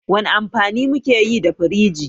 Wani amfani muke yi da firiji?